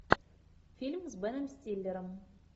фильм с беном стиллером